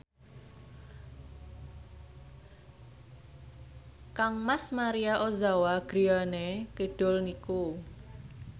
kangmas Maria Ozawa griyane kidul niku